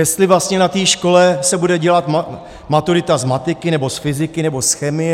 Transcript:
Jestli vlastně na té škole se bude dělat maturita z matiky, nebo z fyziky, nebo z chemie.